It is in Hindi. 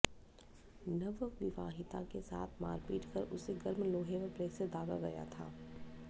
नवविवाहिता के साथ मारपीट कर उसे गर्म लोहे व प्रेस से दागा गया था